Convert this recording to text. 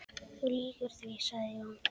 Þú lýgur því, sagði Jón.